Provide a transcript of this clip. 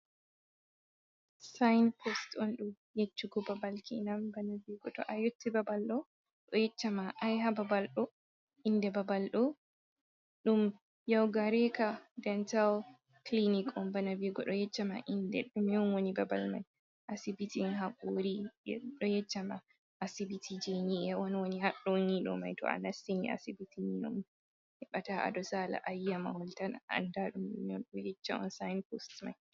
Sinbot on ɗo yeccugo babal kenan bana viugo to a yotti babal ɗo, ɗo yecchama ai ha babal ɗo, inde babal ɗo, ɗum yaugareka dentao clinic on, bana viugo ɗo yecca ma inde ɗo man woni babal mai asibitiin hakori je ɗo yeccama asibiti je ni’e on woni ha ɗo ni ɗo mai, to a nassini asibitin on heɓa to aɗo sala ayiya mahol tan a anda ɗum ɗo yecca on sinbot mai.